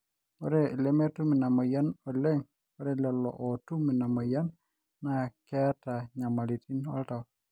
ore lemetum ina moyian oleng ore lolo ootum ina moyian naa keeta nyamalitin oltau